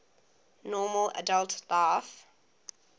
normal adult life